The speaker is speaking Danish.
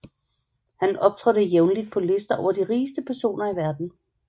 Han optrådte jævnligt på lister over de rigeste personer i verden